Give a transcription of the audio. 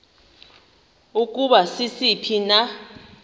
ukuba sisiphi na